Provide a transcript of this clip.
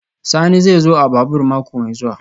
Sani zai zo a babur mako mai zuwa